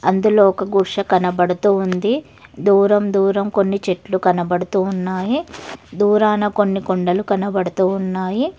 అందులో ఒక గుష కనపడుతు ఉంది దూరం దూరం కొన్ని చెట్లు కనబడుతు ఉన్నాయి దూరాన కొన్ని కొండలు కనబడుతూ ఉన్నాయి.